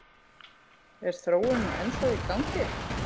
Er þróunin ennþá í gangi?